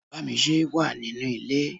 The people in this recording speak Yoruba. Bámisé wà nínú ilé.